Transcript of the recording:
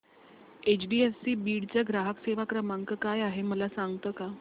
HDFC Beed चा ग्राहक सेवा क्रमांक काय आहे मला सांगता का